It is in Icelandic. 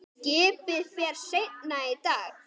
Skipið fer seinna í dag.